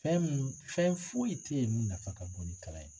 Fɛn mun fɛn foyi tɛ yen min nafa ka bon ni kalan ye.